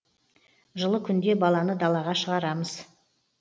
жылы күнде баланы далаға шығарамыз